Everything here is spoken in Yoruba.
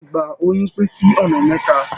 Ìgbà óyún pín sí ọ̀nà mẹ́ta.